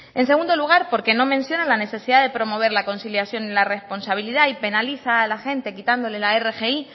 en segundo lugar porque no menciona la necesidad de promover la conciliación y la responsabilidad y penaliza a la gente quitándole la rgi